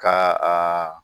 Ka a